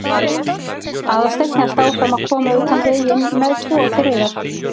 Aðalsteinn hélt áfram að koma utan veginn með tvo til reiðar.